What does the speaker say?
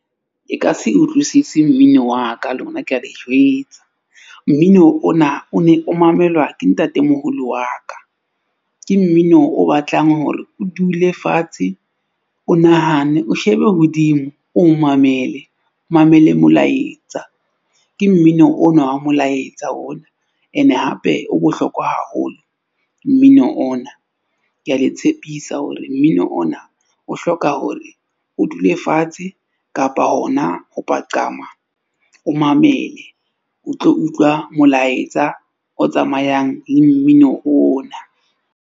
E ka se utlwisisi mmino wa ka lona ke a le jwetsa. Mmino ona o ne o mamelwa ke ntatemoholo wa ka. Ke mmino o batlang hore o dule fatshe, o nahane, o shebe hodimo, o mamele. Mamele molaetsa ke mmino ona wa molaetsa ona, ene hape o bohlokwa haholo mmino ona. Ke a le tshepisa hore mmino ona o hloka hore o dule fatshe kapa hona ho paqama, o mamele, o tlo utlwa molaetsa o tsamayang le mmino ona.